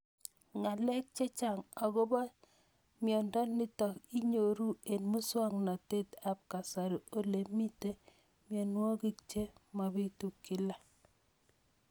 Ng'alek chechang' akopo miondo nitok inyoru eng' muswog'natet ab kasari ole mito mianwek che mapitu kila